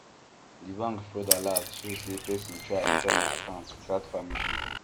the bank fraud alert show say person try enter my account without permission